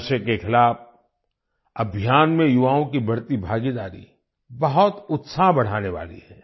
नशे के खिलाफ अभियान में युवाओं की बढ़ती भागीदारी बहुत उत्साह बढ़ाने वाली है